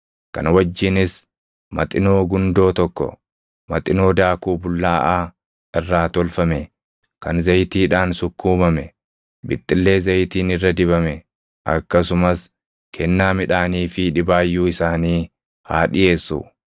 kana wajjinis Maxinoo gundoo tokko, Maxinoo daakuu bullaaʼaa irraa tolfame kan zayitiidhaan sukkuumame, bixxillee zayitiin irra dibame akkasumas kennaa midhaanii fi dhibaayyuu isaanii haa dhiʼeessu.